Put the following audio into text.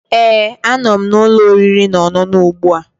Ee, anọ m na ụlọ oriri na ọṅụṅụ ugbu a